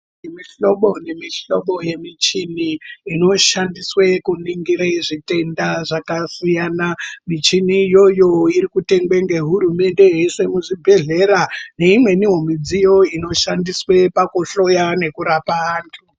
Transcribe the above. Mihlobo nemihlobo yemichini inoshandiswe kuningira zvitenda zvakasiyana . Michini iyoyo irikutengwa nehurumende yeiswe muzvibhedhlera neimweni midziyo inoshandiswa pakuhloya nekurapa vantu.